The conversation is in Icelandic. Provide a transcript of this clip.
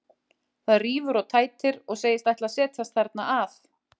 Það rífur og tætir, og segist ætla að setjast þarna að.